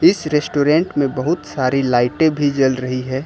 इस रेस्टोरेंट में बहुत सारी लाइटें भी जल रही हैं।